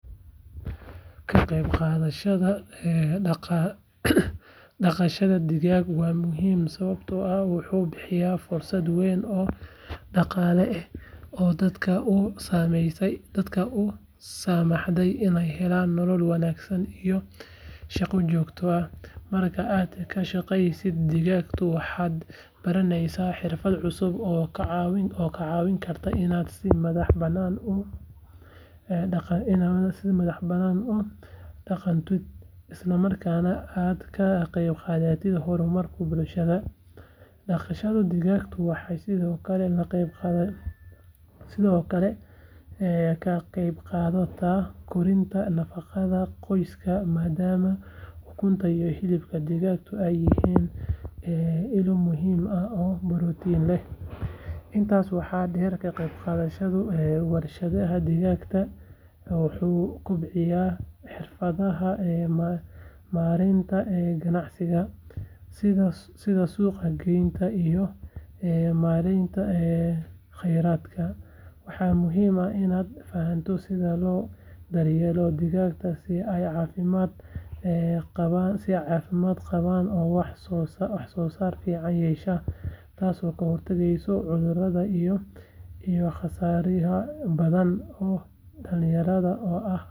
Kagebgadashada ee dagadha digaag wa muxiim sawabto ah wuxu bihiya fursad weyn oo daqale ah oo dadka usamahday inay arkaan nolol wanahsan , marka aad kashageysa digagtu waxad baraneysa hirfad cusub oo kacawin karta inad si madah banan aad udagantidh islamarkana aad kagebgadatidh hormarka bulshada, daqashadu degaga waha Sidhokale ee kagebgadato korinta daqada qoyska madaama ukunta iyo hilibka digagtu ay hiyiin inu muxiim ah oo maroti leh, intas waha deer kagebqadashada warshadaha digagtu wuxu kobciya marinta ganacsiga sidha suqaa geynta iyo marenta ee qeradka waxa muxiim ah inad fahanto sidha lodaryelo digagta si ay ucafimad ee qawaan oo wahsosar ficaan yeshaan, taas oo kahirtageyso cudurada iyo saryaha badan oo dalinyarada oo ah.